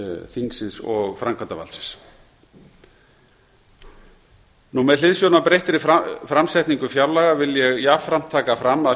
þingsins og framkvæmdarvaldsins með hliðsjón af breyttri framsetningu fjárlaga vil ég jafnframt taka fram að